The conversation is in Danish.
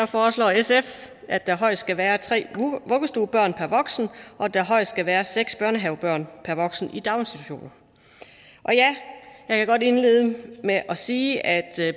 foreslår sf at der højst skal være tre vuggestuebørn per voksen og at der højst skal være seks børnehavebørn per voksen i daginstitutioner jeg kan godt indlede med at sige at